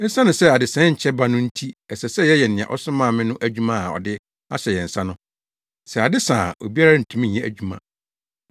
Esiane sɛ adesae nkyɛ ba no nti ɛsɛ sɛ yɛyɛ nea ɔsomaa me no adwuma a ɔde ahyɛ yɛn nsa no. Sɛ ade sa a obiara ntumi nyɛ adwuma.